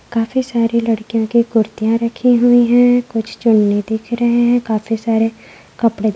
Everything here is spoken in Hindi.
काफी सारे लड़कियों के कुर्तिया रखे हुई है कुछ चुन्नी दिख रहे है काफी सारे कपडे --